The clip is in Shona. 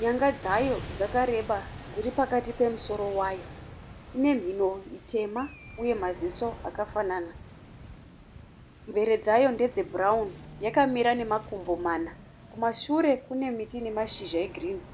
Nyanga dzayo dzakareba dziri pakati pemusoro wayo. Ine mhino itema uye maziso akafanana. Mvere dzayo ndedze bhurauni yakamira nemakumbo mana. Kumashure kune miti nemashizha egirini.